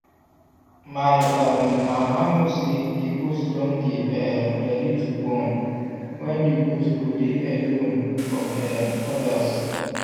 my um mama know say the goat dun dey um ready to born when the goat go dey alone from um others